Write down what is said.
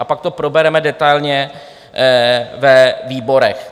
A pak to probereme detailně ve výborech.